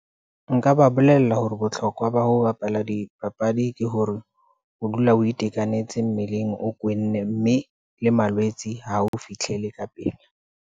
Nka ba bolella hore bohlokwa ba ho bapala dipapadi ke hore o dule o itekanetse mmeleng o kwenne, mme le malwetse ha a o fihlele ka pele.